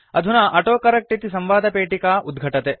अधुना ऑटोकरेक्ट इति संवादपेटिका उद्घटते